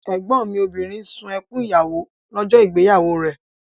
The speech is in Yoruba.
Ẹ̀gbọ́n mi obìnrin sun ẹkún ìyàwó lọ́jọ́ ìgbéyàwó rẹ̀